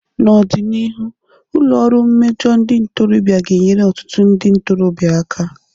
N'ọdịnihu, ụlọ ọrụ mmejọ ndị ntorobịa ga-enyere ọtụtụ ndị ntorobịa aka.